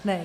Ne.